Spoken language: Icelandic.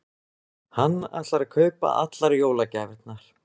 Hann ætlar að kaupa allar jólagjafirnar.